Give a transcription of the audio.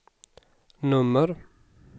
nummer